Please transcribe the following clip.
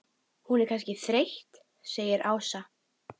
Lillu leið ekkert vel á gatinu.